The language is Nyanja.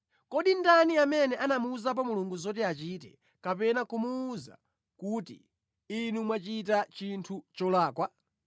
Kodi ndani amene anamuwuzapo Mulungu zoti achite, kapena kumuwuza kuti, ‘Inu mwachita chinthu cholakwa?’